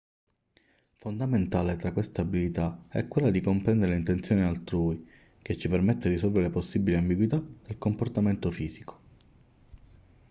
fondamentale tra queste abilità è quella di comprendere le intenzioni altrui che ci permette di risolvere possibili ambiguità del comportamento fisico